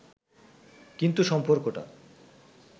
কিন্তু সম্পর্কটা